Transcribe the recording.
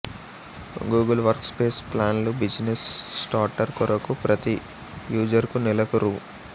Google work space plan లు business starter కొరకు ప్రతి యూజర్ కు నెలకు రూ